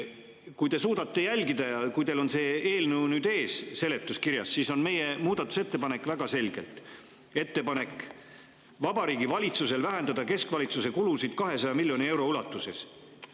Kui te suudate jälgida ja kui teil on see eelnõu ja seletuskiri nüüd ees, siis meie muudatusettepanek on väga selge: ettepanek Vabariigi Valitsusel vähendada keskvalitsuse kulusid 200 miljoni euro ulatuses.